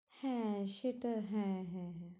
হ্যাঁ সেটা হ্যাঁ হ্যাঁ হ্যাঁ